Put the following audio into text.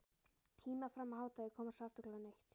Híma fram að hádegi og koma svo aftur klukkan eitt.